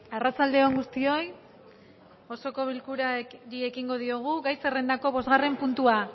arratsalde on guztioi osoko bilkurari ekingo diogu gai zerrendako bostgarren puntua